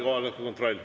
Kohaloleku kontroll.